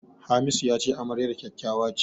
Hamisu ya ce amaryar kyakkyawa ce.